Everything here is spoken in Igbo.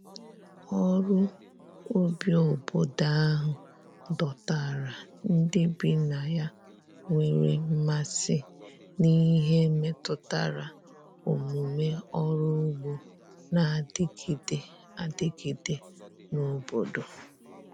ọrụ ubi obodo ahụ dọtara ndi bi na ya nwere mmasi n'ihe metụtara omume ọrụ ụgbo n'adigide adigide n'obodo